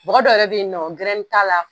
Mɔgɔ dɔ yɛrɛ bɛ yen nɔ gɛrɛn t'a la.